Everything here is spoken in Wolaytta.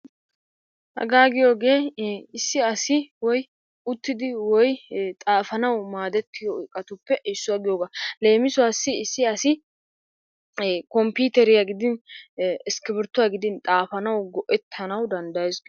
Haga giyooge issi woy uttidi woy xaafanaw maaddetiyo iqqatuppe issuwaa giyooga. Leemisuwassi issi asi komppiteriyaa gidin iskibirttuwaa gidin xaafanaw go"ettanaw danddayees.